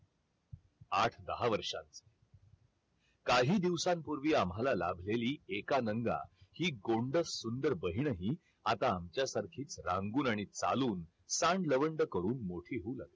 आठ दहा वर्षात काही दिवसांपूर्वी मला लाभलेली एकानांगा हि गोंडस सुंदर बहीणही आता आमच्यासारखीच रंगून आणि चालून सांड लवंड करून मोठी झाली